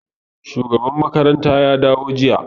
Shugaban makaranta ya dawo jiya.